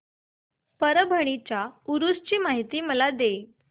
परभणी च्या उरूस ची माहिती दे